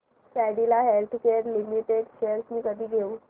Cadila healthcare limited shares मी कधी घेऊ